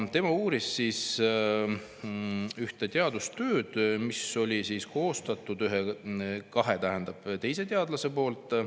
Tema uuris ühte teadustööd, mille olid koostanud kaks teist teadlast.